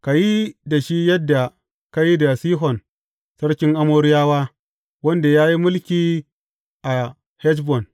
Ka yi da shi yadda ka yi da Sihon sarkin Amoriyawa, wanda ya yi mulki a Heshbon.